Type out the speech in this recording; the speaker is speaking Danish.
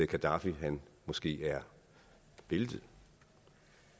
gaddafi måske er væltet